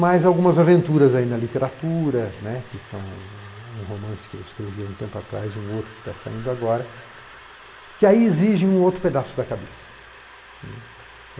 Mas algumas aventuras aí na literatura né, que são um romance que eu escrevi um tempo atrás e um outro que está saindo agora, que aí exigem um outro pedaço da cabeça.